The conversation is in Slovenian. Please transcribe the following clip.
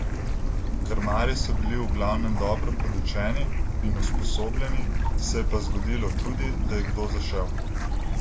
Krmarji so bili v glavnem dobro podučeni in usposobljeni, se je pa zgodilo tudi, da je kdo zašel.